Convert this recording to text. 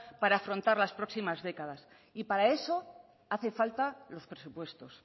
para afrontar las próximas décadas y para eso hacen falta los presupuestos